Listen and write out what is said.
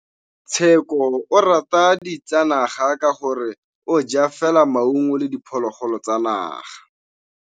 Tshekô o rata ditsanaga ka gore o ja fela maungo le diphologolo tsa naga.